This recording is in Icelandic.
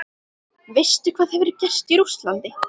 Veistu hvað hefur gerst í Rússlandi?